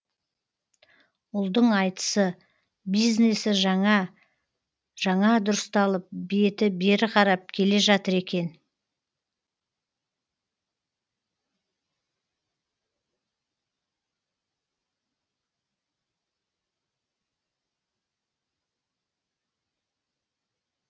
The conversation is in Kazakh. ұлдың айтысы бизнесі жаңа жаңа дұрысталып беті бері қарап келе жатыр екен